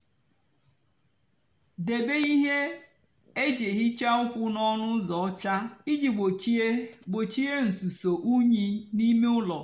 débé íhè-èjí èhicha ụkwụ n'ónú úzọ ọcha íjì gbochie gbochie nsúso unyi n'ímé úló.